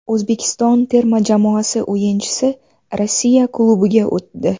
O‘zbekiston terma jamoasi o‘yinchisi Rossiya klubiga o‘tdi .